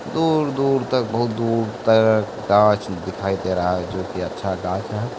दूर -दूर तक बहुत दूर तक दिखाई दे रहा है जो कि अच्छा हैं ।